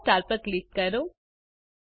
પીળા સ્ટાર પર ક્લિક કરો